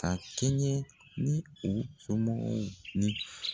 A kɛɲɛ ni u somɔgɔw ni